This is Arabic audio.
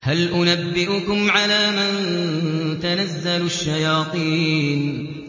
هَلْ أُنَبِّئُكُمْ عَلَىٰ مَن تَنَزَّلُ الشَّيَاطِينُ